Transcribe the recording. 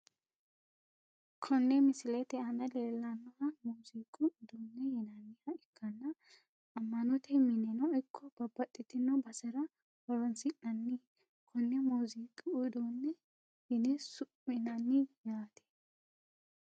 Konne misilete aana lelanoha muuziqu uduune yinaniha ikanna ama`note mineno ikko babaxitino basera horonsinaniha konne muuziqqi uduune yine su`minani yaate.